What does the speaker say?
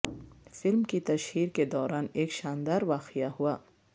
film کی تشہیر کے دوران ایک شاندار واقعہ ہوا